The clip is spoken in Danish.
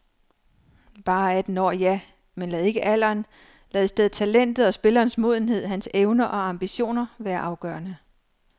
Bare atten år, ja, men lad ikke alderen, lad i stedet talentet og spillerens modenhed, hans evner og ambitioner, være afgørende.